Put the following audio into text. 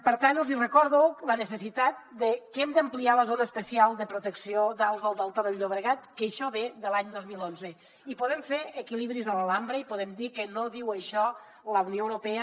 per tant els hi recordo la necessitat de que hem d’ampliar la zona especial de protecció d’aus del delta del llobregat que això ve de l’any dos mil onze i podem fer equilibris a l’pa